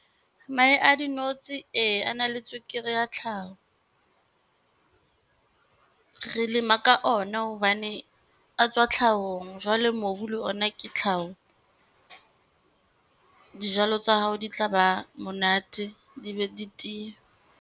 Mahe a dinotshi ee a na le tswekere ya tlhaho. Re lema ka ona hobane a tswa tlhahong. Jwale mobu le ona ke tlhaho. Dijalo tsa hao di tla ba monate, di be di tiye.